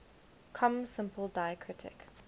com simple diacritic